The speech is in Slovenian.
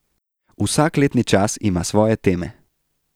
Vsak letni čas ima svoje teme.